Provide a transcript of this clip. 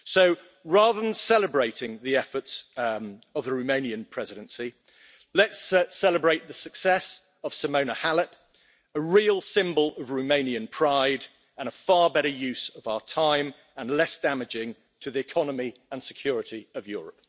So rather than celebrating the efforts of the Romanian Presidency, let's celebrate the success of Simona Halep, a real symbol of Romanian pride, a far better use of our time and less damaging to the economy and security of Europe.